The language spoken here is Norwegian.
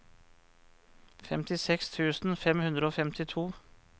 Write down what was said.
femtiseks tusen fem hundre og femtito